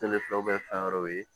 fɛn wɛrɛw ye